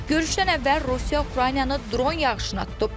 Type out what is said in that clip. Görüşdən əvvəl Rusiya Ukraynanı dron yağışına tutub.